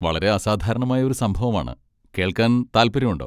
വളരെ അസാധാരണമായ ഒരു സംഭവമാണ്, കേൾക്കാൻ താൽപര്യമുണ്ടോ?